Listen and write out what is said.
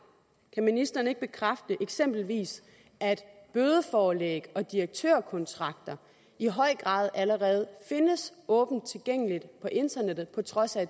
kan ministeren ikke bekræfte eksempelvis at bødeforelæg og direktørkontrakter i høj grad allerede findes åben tilgængeligt på internettet på trods af